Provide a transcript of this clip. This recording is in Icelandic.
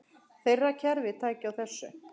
Þeirra kerfi taki á þessu.